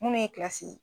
Munnu ye ye